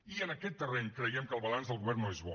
i en aquest terreny creiem que el balanç del govern no és bo